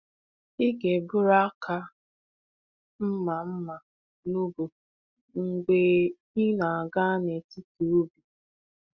Ị ga-eburu aka mma mma n’ubu mgbe ị na-aga n’etiti ubi.